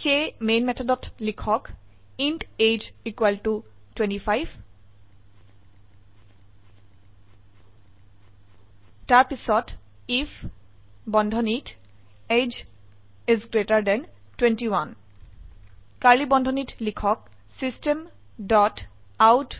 সেয়ে মেন মেথডত লিখক ইণ্ট এজিই 25 তাৰপিছত আইএফ বন্ধনীত এজিই 21 কাৰ্ড়লী বন্ধনীত লিখক চিষ্টেম ডট আউট